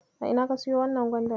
A ina ka siyo wannan gwandar?